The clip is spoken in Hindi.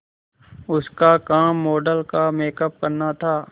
उसका काम मॉडल का मेकअप करना था